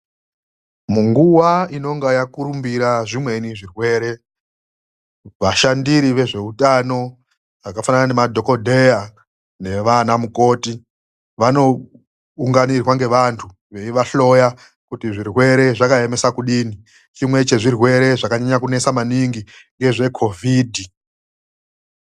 Munguwa inonga yakurumbira zvimweni zvirwere, vashandiri vezveutano vakafanana nemadhokodheya nevanamukoti vanounganirwa ngevantu veivahloya kuti zvirwere zvakaemesa kudini. Chimwe chezvirwere zvakanyanya kunesa maningi ngechekovhidhi.